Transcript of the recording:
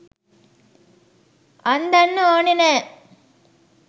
අන්දන්න ඕනේ නෑ.